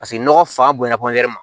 Paseke nɔgɔ fa bonya